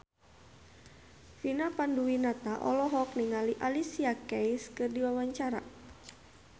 Vina Panduwinata olohok ningali Alicia Keys keur diwawancara